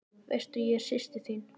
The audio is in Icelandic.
Veistu að ég er systir þín.